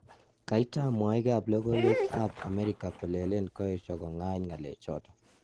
kaitam mwaik ap logoiwek ap Ameriga kolelen kaesio kongany ngalechaton